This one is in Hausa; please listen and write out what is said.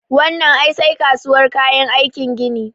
Wannan ai sai kasuwar kayan aikin gini